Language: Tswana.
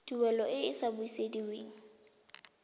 tuelo e e sa busediweng